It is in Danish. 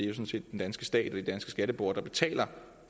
er jo den danske stat og de danske skatteborgere der betaler